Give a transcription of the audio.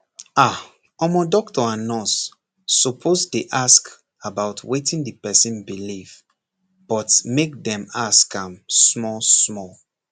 ah omor doctor and nurse suppose dey ask about wetin the person believe but make dem ask am small small